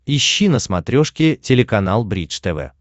ищи на смотрешке телеканал бридж тв